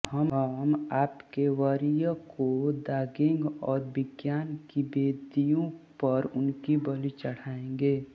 हम आपके वरीय को दागेंगे और विज्ञान की वेदियों पर उनकी बलि चढ़ाएंगे